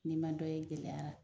N'i ma dɔ ye gɛlɛyara,